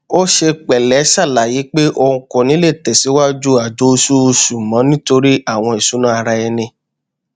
ó ṣe pẹlẹ ṣàlàyé pé òun kò ní le tẹsìwájú àjọ oṣooṣù mọ nítorí àwọn ìṣúná ara ẹni